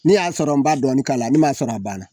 Ni y'a sɔrɔ n b b'a dɔɔnin k'a la ni m'a sɔrɔ a banna.